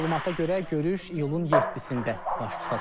Məlumata görə, görüş iyulun 7-də baş tutacaq.